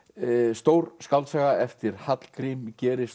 stór skáldsaga eftir Hallgrím gerist